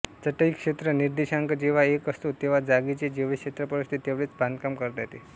चटई क्षेत्र निर्देशांक जेव्हा एक असतो तेव्हा जागेचे जेवढे क्षेत्रफळ असते तेवढेच बांधकाम करता येते